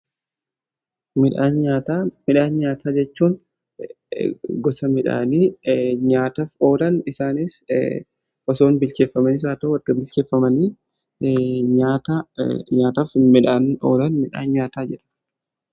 Midhaan nyaataa jechuun gosa midhaanii nyaataf oolani. Isaaniis osoon bilcheeffamanii haa ta'uu otoo hin bilcheeffamanii nyaataaf midhaan oolan midhaan nyaataa jedhamu.